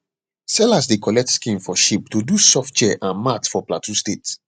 sellers dey collect skin of sheep to do soft chair and mat for plateau state